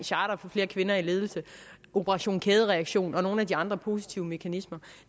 charter for flere kvinder i ledelse operation kædereaktion og nogle af de andre positive mekanismer